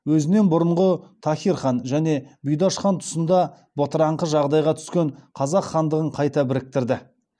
өзінен бұрынғы тахир хан және бұйдаш хан тұсында бытыраңқы жағдайға түскен қазақ хандығын қайта біріктірді